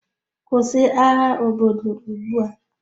Kwụsị agha obodo ugbu a!